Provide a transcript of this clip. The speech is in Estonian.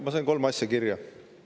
Ma sain kolm asja kirja.